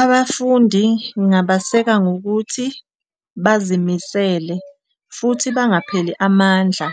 Abafundi ngingabaseka ngokuthi bazimisele futhi bangapheli amandla